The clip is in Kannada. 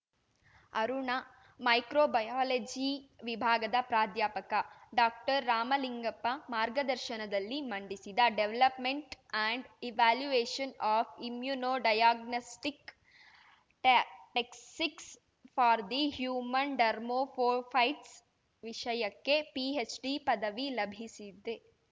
ಅರುಣ ಮೈಕ್ರೋ ಬಯಾಲಜಿ ವಿಭಾಗದ ಪ್ರಾಧ್ಯಾಪಕ ಡಾಕ್ಟರ್ರಾಮಲಿಂಗಪ್ಪ ಮಾರ್ಗದರ್ಶನದಲ್ಲಿ ಮಂಡಿಸಿದ development and evaluation of immuno diagnostic ಟ್ಯಾ techniques for the human ಡರ್ಮೋಫೋಫೈಟ್ಸ್‌ ವಿಷಯಕ್ಕೆ ಪಿಹೆಚ್‌ಡಿ ಪದವಿ ಲಭಿಸಿದೆ